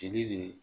Jeli de